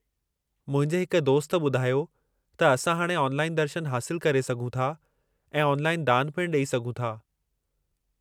मुंहिंजे हिक दोस्त ॿुधायो त असां हाणे ऑनलाइन दर्शन हासिलु करे सघूं था ऐं ऑनलाइन दानु पिणु ॾेई सघूं था।